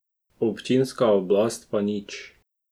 Občinska oblast pa nič.